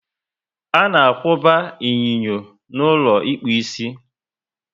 Ana akwuba inyinyo n'ulo ịkpụ isi